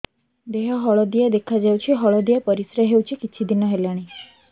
ଦେହ ହଳଦିଆ ଦେଖାଯାଉଛି ହଳଦିଆ ପରିଶ୍ରା ହେଉଛି କିଛିଦିନ ହେଲାଣି